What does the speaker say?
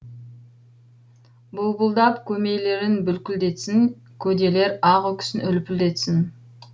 бұлбұлдап көмейлерін бүлкілдетсін көделер ақ үкісін үлпілдетсін